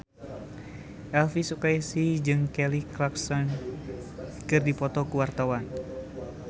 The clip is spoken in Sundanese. Elvy Sukaesih jeung Kelly Clarkson keur dipoto ku wartawan